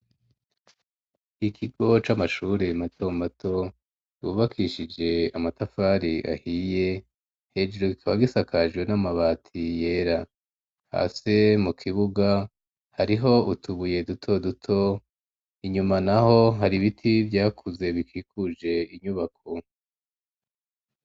Ikigo c'amashure mato mato, cubakishije amatafari ahiye, hejuru kikaba gisakajwe n'amabati yera, hasi mu kibuga hariho utubuye duto duto, inyuma naho hari ibiti vyakuze bikikuje inyubako.